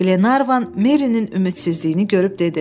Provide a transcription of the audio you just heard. Qlenarvan Merinin ümidsizliyini görüb dedi: